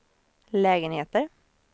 lägenheter